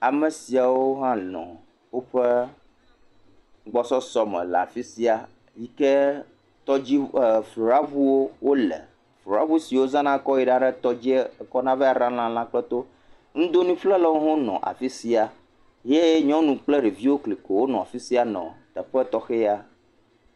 Ame siawo hã nɔ woƒe gbɔsɔsɔ me le afi sia, yi ke tɔdziŋu.., rabuwo le, rabu si wotsɔna yina ɖe tɔdzi. Nudonui ƒlelawo le afi sia ye nyɔnu kple ɖeviwo klikowo nɔ afi sia nɔ teƒe tɔxɛ ya.